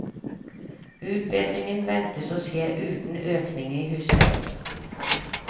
Utbedringen ventes å skje uten økning i husleien.